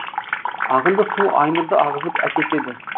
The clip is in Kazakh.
ағынды су айнұрды ағызып әкетеді